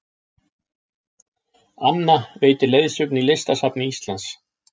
Anna veitir leiðsögn í Listasafni Íslands